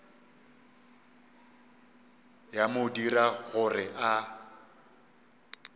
ya mo dira gore a